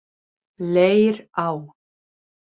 Leirá